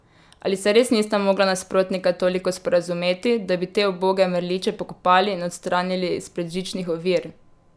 Ali se res nista mogla nasprotnika toliko sporazumeti, da bi te uboge mrliče pokopali in odstranili izpred žičnih ovir?